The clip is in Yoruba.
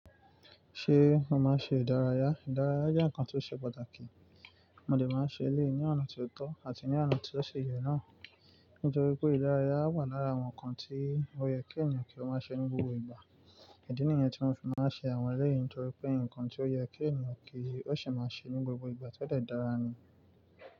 Ṣé mo máa ṣe ìdárayá? Ìdárayá jẹ́ nkan tió ṣe pàtàkì. Mo dè máa ṣe eléyìí ní ọ̀nà ti ó tọ́ àti ní ọ̀nà tí ó ṣi ye náà. Nítorí pé ìdárayá wà lára àwọn nǹkan tí ó yẹ kí ènìyàn kí ó máa ṣe ní gbogbo ìgbà. Ìdí nìyẹn tí mo fi máa ń ṣe àwọn eléyìí nítorí pé nǹkan tí ó yẹ kí ènìyàn kí ó sì máa ṣe ní gbogbo ìgbà ti o de dára ni.